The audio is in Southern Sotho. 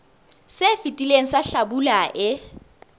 se fetileng sa hlabula e